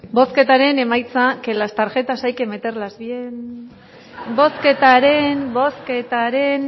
bozketaren emaitza que las tarjetas hay que meterlas bien bozketaren bozketaren